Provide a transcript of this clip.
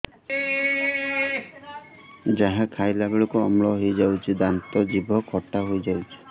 ଯାହା ଖାଇଲା ବେଳକୁ ଅମ୍ଳ ହେଇଯାଉଛି ଦାନ୍ତ ଜିଭ ଖଟା ହେଇଯାଉଛି